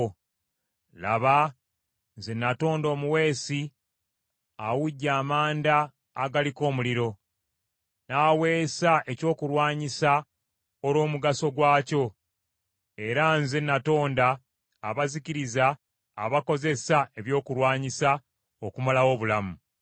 Laba nze natonda omuweesi, awujja amanda agaliko omuliro n’aweesa ekyokulwanyisa olw’omugaso gwakyo. Era nze natonda abazikiriza abakozesa ekyokulwanyisa okumalawo obulamu.